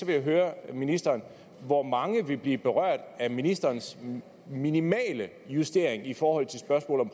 jeg høre ministeren hvor mange vil blive berørt af ministerens minimale justering i forhold til spørgsmålet